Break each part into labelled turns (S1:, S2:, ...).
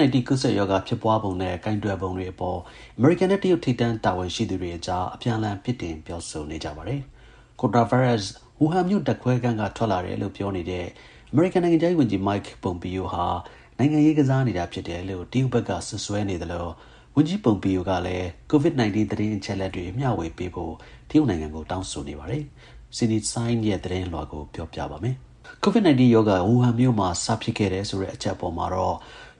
S1: -19 ကူးစက်ရောဂါ ဖြစ်ပွားပုံနဲ့ ကိုင်တွယ်ပုံတွေအပေါ် အမေရိကန်နဲ့ တရုတ် ထိပ်တန်းတာဝန်ရှိသူတွေအကြား အပြန်အလှန် ပြစ်တင်ပြောဆိုနေကြပါတယ်။ ကိုရိုနာဗိုင်းရပ်စ် ဝူဟန်မြို့ ဓာတ်ခွဲခန်းက ထွက်လာတယ်လို့ ပြောနေတဲ့ အမေရိကန် နိုင်ငံခြားရေးဝန်ကြီး Mike Pompeo ဟာ နိုင်ငံရေးကစားနေတာ ဖြစ်တယ်လို့ တရုတ်ဘက်က စွပ်စွဲနေသလို ဝန်ကြီး Pompeo ကလည်း COVID-19 သတင်းအချက်အလက်တွေ မျှဝေပေးဖို့ တရုတ်နိုင်ငံကို တောင်းဆိုနေပါတယ်။ ဗွီအိုအေသတင်းထောက် Cindy Saine ရဲ့ သတင်းလွှာကို ကိုရဲမင်းထွန်း တင်ပြပေးထားပါတယ်။ COVID-19 ရောဂါ ဝူဟန်မြို့မှာ စဖြစ်ခဲ့တယ်ဆိုတဲ့ အချက်အပေါ်မှာတော့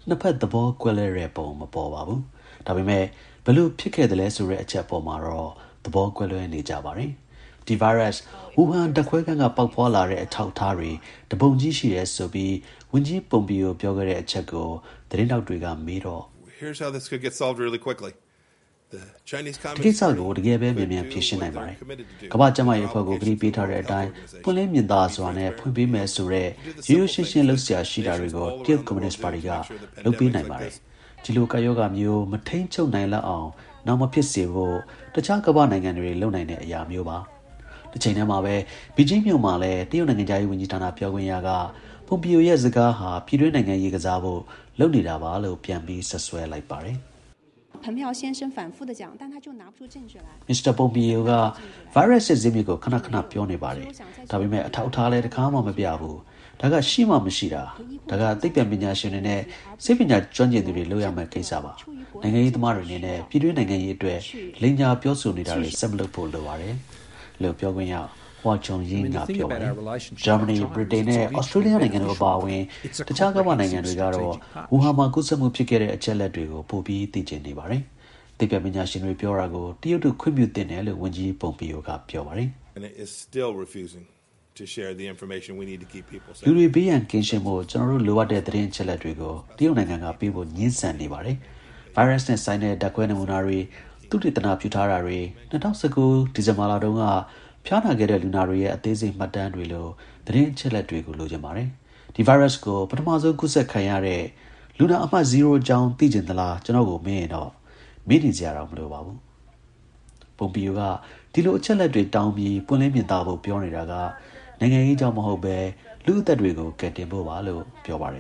S1: နှစ်ဖက် သဘောတူကြပုံ ပေါ်ပါတယ်။ ဒါပေမယ့် ဘယ်လိုဖြစ်သလဲဆိုတဲ့ အချက်အပေါ်မှာတော့ သဘောမတူကြပါဘူး။ ဒီဗိုင်းရပ်စ် ဝူဟန်ဓာတ်ခွဲခန်းက ပေါက်ဖွားလာတဲ့ အထောက်အထားတွေ တပုံကြီးရှိတယ်ဆိုပြီး ဝန်ကြီး Pompeo ပြောခဲ့တဲ့အချက်ကို သတင်းထောက်တွေက မေးရာမှာ... “ဒီကိစ္စကို တကယ်ပဲ မြန်မြန် ဖြေရှင်းနိုင်ပါတယ်။ ကမ္ဘာ့ကျန်းမာရေးအဖွဲ့ကို ကတိပေးထားတဲ့အတိုင်း ပွင့်လင်းမြင်သာစွာနဲ့ ဖွင့်ပေးမယ်ဆိုတဲ့ ရိုးရိုးရှင်းရှင်း လုပ်စရာရှိတာတွေကို တရုတ်ကွန်မြူနစ်ပါတီက လုပ်ပေးနိုင်ပါတယ်။ ဒီလိုကပ်ရောဂါမျိုး မထိန်းချုပ်နိုင်လောက်အောင် နောင်မဖြစ်စေဖို့ တခြား ကမ္ဘာ့နိုင်ငံတွေ လုပ်နိုင်တဲ့အရာမျိုးပါ။” လို့ Pompeo က ပြောပါတယ်။ တချိန်တည်းမှာပဲ ဘေဂျင်းမြို့မှာလည်း တရုတ်နိုင်ငံခြားရေးဝန်ကြီးဌာန ပြောခွင့်ရ Hua Chunying က Pompeo ရဲ့ စကားဟာ ပြည်တွင်းနိုင်ငံရေးကစားဖို့ လုပ်နေတာပါလို့ ပြန်ပြီး စွပ်စွဲလိုက်ပါတယ်။ “Mr. Pompeo က ဗိုင်းရပ်စ်ရဲ့ ဇာစ်မြစ်ကို ခဏခဏ ပြောနေပါတယ်။ ဒါပေမယ့် အထောက်အထားလည်း တခါမှ မပြဘူး။ ဒါက ရှိမှမရှိတာ။ ဒါက သိပ္ပံပညာရှင်တွေနဲ့ ဆေးပညာကျွမ်းကျင်သူတွေ လုပ်ရမယ့်ကိစ္စပါ။ နိုင်ငံရေးသမားတွေ အနေနဲ့ ပြည်တွင်းနိုင်ငံရေးအတွက် လိမ်ညာပြောနေတာတွေ ဆက်မလုပ်ဖို့ လိုပါတယ်။” ဂျာမနီ၊ ဗြိတိန်နဲ့ ဩစတြေးလျတို့ အပါအဝင် တခြား ကမ္ဘာ့နိုင်ငံတွေကတော့ ဝူဟန်မှာ ကူးစက်မှုဖြစ်ခဲ့တဲ့ အချက်အလက်တွေကို ပိုပြီး သိချင်နေပါတယ်။ သိပ္ပံပညာရှင်တွေ ပြောတာကို တရုတ်တို့ ခွင့်ပြုသင့်တယ်လို့ ဝန်ကြီး Pompeo က ပြောပါတယ်။ “လူတွေ ဘေးရန်ကင်းဖို့ ကျနော်တို့ လိုအပ်နေတဲ့ သတင်းအချက်အလက်တွေကို တရုတ်နိုင်ငံက ပေးဖို့ ငြင်းဆန်နေပါတယ်။ ဗိုင်းရပ်စ်နဲ့ဆိုင်တဲ့ ဓာတ်ခွဲနမူနာတွေ၊ သုတေသန ပြုထားတာတွေ၊ ၂၀၁၉ ဒီဇင်ဘာလတုန်းက ဖျားနာခဲ့တဲ့ လူနာတွေရဲ့ အသေးစိတ်မှတ်တမ်းတွေလို သတင်းအချက်အလက်တွေပါ။ ဒီဗိုင်းရပ်စ်ကို ပထမဆုံး ကူးခံရတဲ့ လူနာအမှတ်ဇီးရိုးအကြောင်း သိချင်သလား ဆိုရင်တော့ မေးနေစရာတောင် မလိုပါဘူး။” Pompeo က ဒီလို အချက်အလက်တွေ တောင်းပြီး ပွင့်လင်းမြင်သာဖို့ ပြောနေတာဟာ နိုင်ငံရေးကြောင့် မဟုတ်ဘဲ လူ့အသက်တွေကို ကယ်တင်ဖို့ပါလို့ ပြောပါတယ်